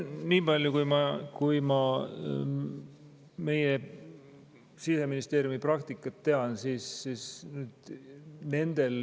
Nii palju, kui ma meie Siseministeeriumi praktikat tean, siis on suur vahe.